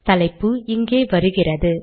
தலைப்பு இங்கே வருகிறது